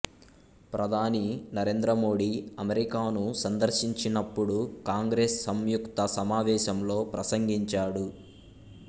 ప్రధాని నరేంద్ర మోడీ అమెరికాను సందర్శించినప్పుడు కాంగ్రెస్ సంయుక్త సమావేశంలో ప్రసంగించాడు